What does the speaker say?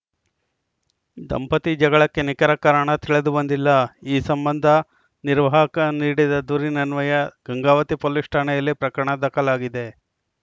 ದಂಪತಿ ಜಗಳಕ್ಕೆ ನಿಖರ ಕಾರಣ ತಿಳಿದುಬಂದಿಲ್ಲ ಈ ಸಂಬಂಧ ನಿರ್ವಾಹಕ ನೀಡಿದ ದೂರಿನನ್ವಯ ಗಂಗಾವತಿ ಪೊಲೀಸ್‌ ಠಾಣೆಯಲ್ಲಿ ಪ್ರಕರಣ ದಾಖಲಾಗಿದೆ